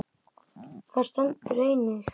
Þar stendur einnig